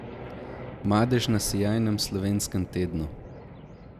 Madež na sijajnem slovenskem tednu?